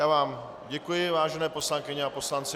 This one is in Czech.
Já vám děkuji, vážené poslankyně a poslanci.